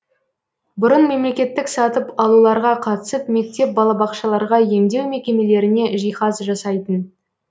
бұрын мемлекеттік сатып алуларға қатысып мектеп балабақшаларға емдеу мекемелеріне жиһаз жасайтын